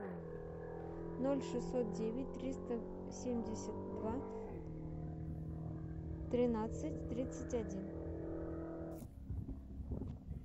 ноль шестьсот девять триста семьдесят два тринадцать тридцать один